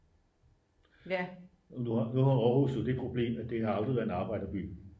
nu har aarhus jo det problem at det aldrig har været en arbejderby